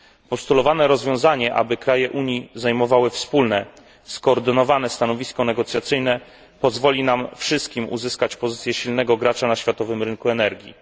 Postulowane rozwiązanie, aby kraje Unii zajmowały wspólne skoordynowane stanowisko negocjacyjne pozwoli nam wszystkim uzyskać pozycję silnego gracza na światowym rynku energii.